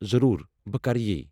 ضروُر ، بہٕ کرٕ یی ۔